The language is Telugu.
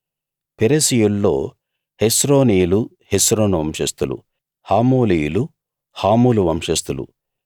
పెరెసీయుల్లో హెస్రోనీయులు హెస్రోను వంశస్థులు హామూలీయులు హామూలు వంశస్థులు